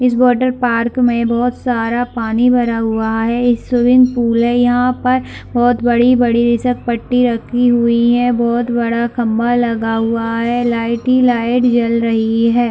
इस water park में बहोत सारा पानी भरा हुआ है एक स्विमिंग पूल है यहाँ पर यहाँ पर बहोत बड़ी - बड़ी बहोत बड़ा खम्भा लगा हुआ है लाइट ही लाइट जल रही है।